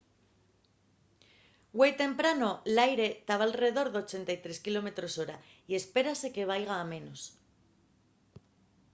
güei temprano l’aire taba alredor de 83 km/h y espérase que vaiga a menos